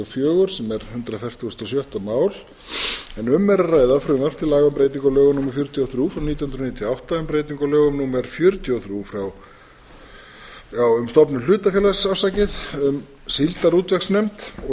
fjögur sem er ellefu hundruð fjörutíu og sex mál en um er að ræða frumvarp um breytingu á lögum númer fjörutíu og þrjú nítján hundruð níutíu og átta um stofnun hlutafélags um síldarútvegsnefnd og